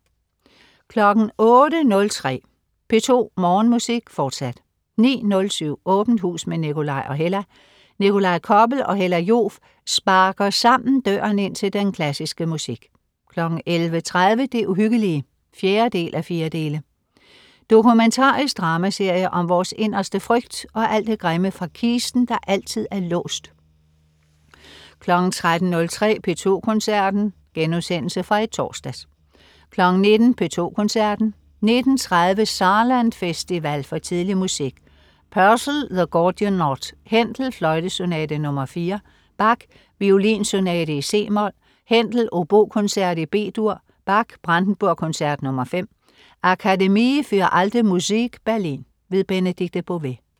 08.03 P2 Morgenmusik, fortsat 09.07 Åbent hus med Nikolaj og Hella. Nikolaj Koppel og Hella Joof sparker sammen døren ind til den klassiske musik 11.30 Det uhyggelige 4:4. Dokumentarisk dramaserie om vores inderste frygt og alt det grimme fra kisten, der altid er låst 13.03 P2 Koncerten.* Genudsendelse fra i torsdags 19.00 P2 Koncerten. 19.30 Saarland Festival for tidlig musik. Purcell: The Gordian Knot. Händel: Fløjtesonate, nr. 4. Bach: Violinsonate, c-mol. Händel: Obokoncert, B-dur. Bach: Brandenburgkoncert nr. 5. Akademie für Alte Musik Berlin. Benedikte Bové